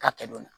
K'a kɛ don